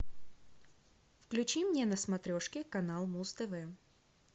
включи мне на смотрешке канал муз тв